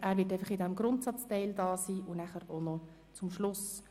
Er wird während der Grundsatzdebatte anwesend sein sowie nachher noch am Schluss.